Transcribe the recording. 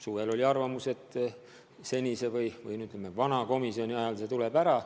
Suvel oli arvamus, et senise või, ütleme, vana komisjoni ajal see tuleb ära.